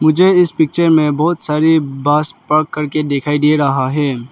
मुझे इस पिक्चर में बहोत सारी बस पक करके दिखाई दे रहा है।